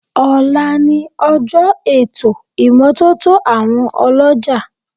Ọ̀la ni ọjọ́ ètò ìmọ́tótó àwọn ọlọ́jà